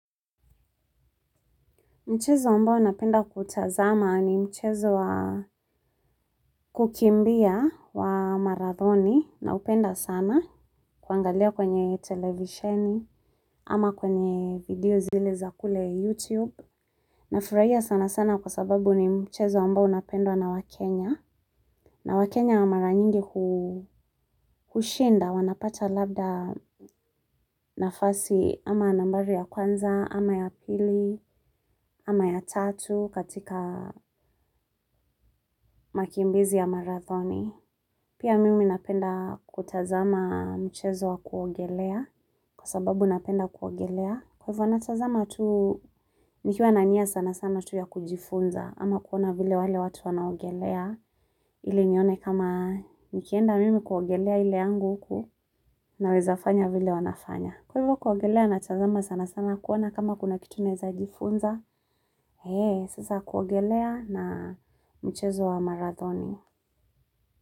Mchezo ambao ninapenda kutazama ni mchezo kukimbia wa marathoni naupenda sana kuangalia kwenye televisheni ama kwenye video zile za kule YouTube. Nafurahia sanasana kwa sababu ni mchezo ambao unapendwa na wakenya. Na wakenya mara nyingi hushinda wanapata labda nafasi ama nambari ya kwanza, ama ya pili, ama ya tatu katika makimbizi ya marathoni. Pia mimi napenda kutazama mchezo wa kuogelea kwa sababu napenda kuogelea. Kwa hivyo natazama tu nikiwa na nia sanasana tu ya kujifunza ama kuona vile wale watu wanaogelea ili nione kama nikienda mimi kuogelea ile yangu huku naweza fanya vile wanafanya. Kwa hivyo kuogelea natazama sanasana kuona kama kuna kitu naweza jifunza, eeenh sasa kuogelea na mchezo wa marathoni.